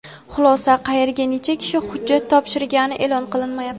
Xulosa: qayerga necha kishi hujjat topshirgani e’lon qilinmayapti.